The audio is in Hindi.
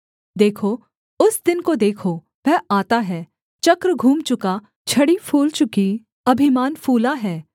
देखो उस दिन को देखो वह आता है चक्र घूम चुका छड़ी फूल चुकी अभिमान फूला है